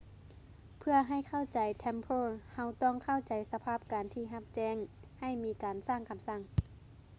ເພື່ອໃຫ້ເຂົ້າໃຈ templars ເຮົາຕ້ອງເຂົ້າໃຈສະພາບການທີ່ຮັບແຈ້ງໃຫ້ມີການສ້າງຄໍາສັ່ງ